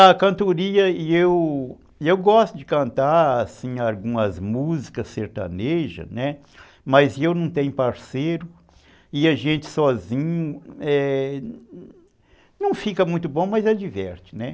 A cantoria, eu eu gosto de cantar algumas músicas sertanejas, mas eu não tenho parceiro e a gente sozinho, é, não fica muito bom, mas adverte, né.